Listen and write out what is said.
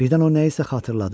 Birdən o nəyisə xatırladı.